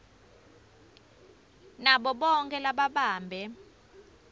nabo bonkhe lababambe